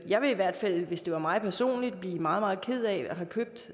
jeg ville i hvert fald hvis det var mig personligt blive meget ked af at have købt